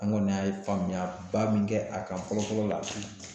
An kɔni y'a ye faamuyaba min kɛ a kan fɔlɔ fɔlɔ la